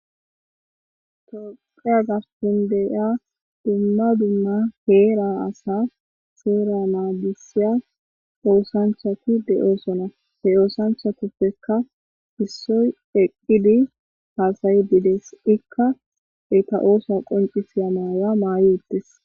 Toqeya garpun deyiya dumma dumma heera asa seera naadisiya oosanchati de7oosona he oosanchatuppeka issoy eqqidi haasayi bides ikka eta oosa qoncisiya maaya maayi uttes